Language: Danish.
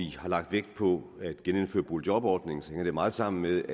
vi har lagt vægt på at genindføre boligjobordningen hænger det meget sammen med